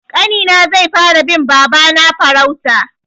Ƙanina zai fara bin babana farauta.